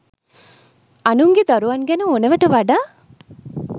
අනුන්ගේ දරුවන් ගැන ඕනෑවට වඩා